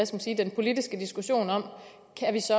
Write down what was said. sige den politiske diskussion om